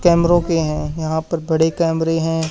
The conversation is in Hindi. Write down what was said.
कैमरों के हैं यहां पर बड़े कैमरे हैं।